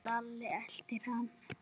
Lalli elti hann.